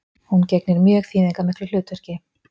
Hún gegnir mjög þýðingarmiklu hlutverki